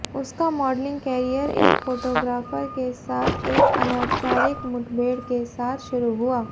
उसका modelling career एक photographer के साथ एक अनौपचारिक मुठभेड़ के साथ शुरू हुआ